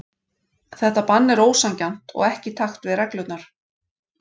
Þetta bann er ósanngjarnt og ekki í takt við reglurnar.